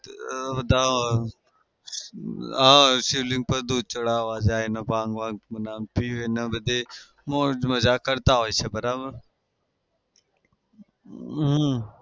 બધા હા શિવલિંગ પર દૂધ ચઢાવા જાય ભાંગ બાંગ પીવે અને બધી મોજ મજા કરતા હોય છે. બરાબર? હમ